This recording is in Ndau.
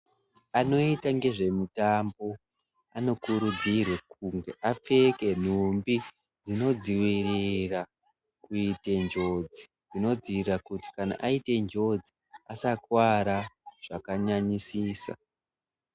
Anoita ngezvemitambo anokurudzirwa kuti apfeke nhumbi dzinodzivirira kuite njodzi dzinodzivirira kuti kana aite njodzi asakuwara zvakanyanyisisa.